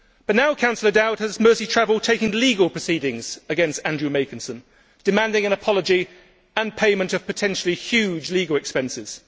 Now, however, Councillor Dowd has Merseytravel taking legal proceedings against Andrew Makinson, demanding an apology and payment of potentially huge legal expenses.